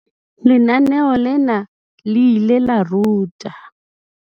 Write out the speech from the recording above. Lenaneo lena le ile la ruta.